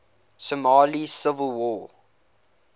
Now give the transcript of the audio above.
somali civil war